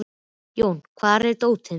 Jón, hvar er dótið mitt?